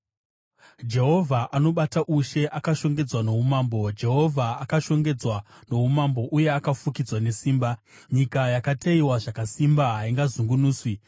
Jehovha anobata ushe, akashongedzwa noumambo; Jehovha akashongedzwa noumambo uye akafukidzwa nesimba. Nyika yakateyiwa zvakasimba; haingazungunuswi.